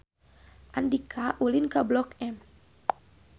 Andika ulin ka Blok M